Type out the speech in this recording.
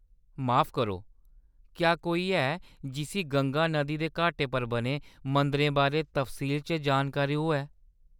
माफ करो, क्या कोई ऐ जिस्सी गंगा नदी दे घाटें पर बने मंदरें बारै तफसील च जानकारी होऐ ?